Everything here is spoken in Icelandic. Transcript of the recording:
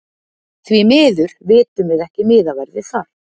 Því miður vitum við ekki miðaverðið þar.